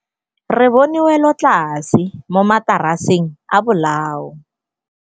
Re bone wêlôtlasê mo mataraseng a bolaô.